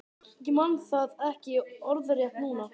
Ég man það ekki orðrétt núna.